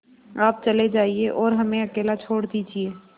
आप चले जाइए और हमें अकेला छोड़ दीजिए